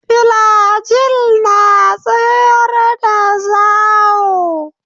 Filajil na tsayar da zawo.